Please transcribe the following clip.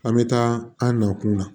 An bɛ taa an na kunna